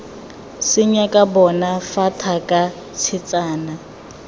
senyaka bona fa thaka tshetsana